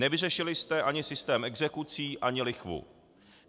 Nevyřešili jste ani systém exekucí, ani lichvu.